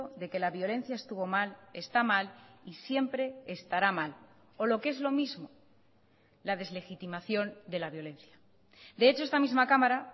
de que la violencia estuvo mal está mal y siempre estará mal o lo que es lo mismo la deslegitimación de la violencia de hecho esta misma cámara